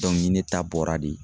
Dɔnku ni ne ta bɔra de